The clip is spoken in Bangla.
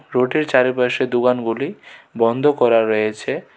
রোডের চারিপাশের দোকানগুলি বন্ধ করা রয়েছে.